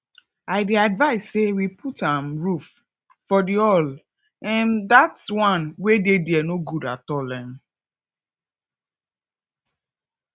i dey advice say we put um roof for the hall um dat wan wey dey there no good at all um